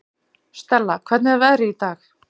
Stella, hvernig er veðrið í dag?